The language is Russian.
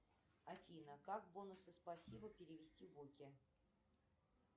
афина как бонусы спасибо перевести в оки